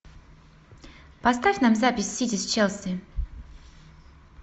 поставь нам запись сити с челси